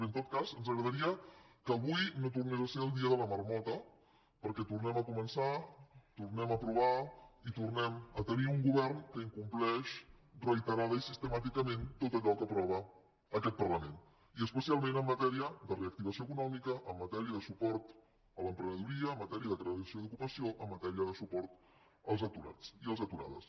bé en tot cas ens agradaria que avui no tornés a ser el dia de la marmota perquè tornem a començar tornem a aprovar i tornem a tenir un govern que incompleix reiteradament i sistemàticament tot allò que aprova aquest parlament i especialment en matèria de reactivació econòmica en matèria de suport a l’emprenedoria en matèria de creació d’ocupació en matèria de suport als aturats i a les aturades